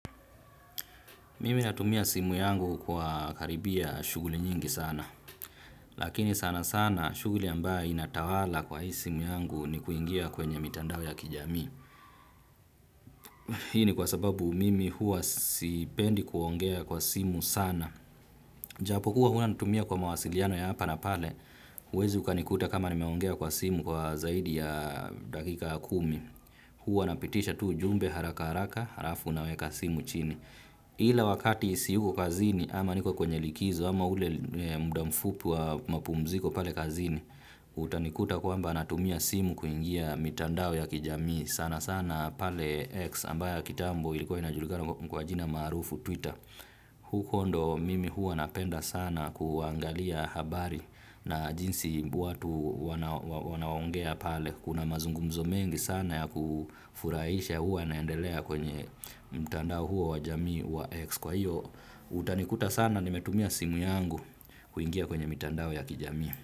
Mimi natumia simu yangu kwa karibia shuguli nyingi sana. Lakini sana sana shughuli ambaye inatawala kwa hii simu yangu ni kuingia kwenye mitandao ya kijamii. Hii ni kwa sababu mimi huwa sipendi kuongea kwa simu sana. Japo huwa huwa natumia kwa mawasiliano ya hapa na pale. uwezi ukanikuta kama nimeongea kwa simu kwa zaidi ya dakika ya kumi. Huwa napitisha tu u jumbe haraka haraka harafu naweka simu chini. Ila wakati siyuko kazini ama niko kwenye likizo ama ule muda mfupi wa mapumziko pale kazini utanikuta kwamba natumia simu kuingia mitandao ya kijamii sana sana pale X ambaye ya kitambo ilikuwa inajulikana kwa jina maarufu Twitter. Huko ndo mimi huwa napenda sana kuangalia habari na jinsi watu wanaongea pale. Kuna mazungumzo mengi sana ya kufurahisha huwa yanaendelea kwenye mtandao huo wa jamii wa X. Kwa hiyo, utanikuta sana nimetumia simu yangu kuingia kwenye mitandao ya kijamii.